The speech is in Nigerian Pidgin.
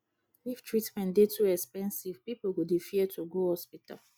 if treatment dey too expensive pipo go dey fear to go hospital